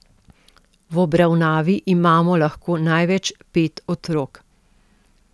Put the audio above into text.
V obravnavi imamo lahko največ pet otrok.